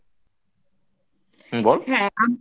হুম বল